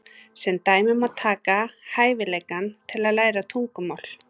Sem dæmi má taka hæfileikann til að læra tungumál.